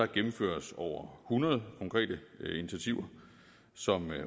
gennemføres over hundrede konkrete initiativer som